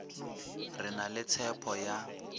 re na le tshepho ya